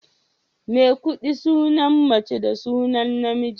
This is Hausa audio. Maikuɗi sunan mace da sunan namiji.